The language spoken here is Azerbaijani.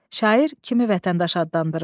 Şair kimi vətəndaş adlandırır?